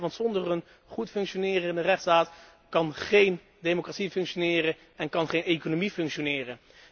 En terecht, want zonder een goed functionerende rechtsstaat kan geen democratie functioneren, kan geen economie functioneren.